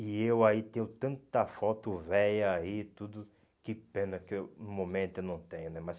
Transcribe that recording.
E eu aí tenho tanta foto velha e tudo, que pena que eu no momento eu não tenho, né? Mas